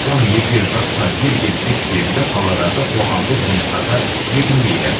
оның егде жасқа келгені ескеріліп қаладағы қоғамдық жұмыстарға жегілмейді